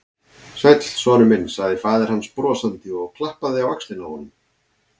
Sæll, sonur minn sagði faðir hans brosandi og klappaði á öxlina á honum.